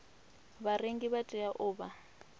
vharengi vha tea u vha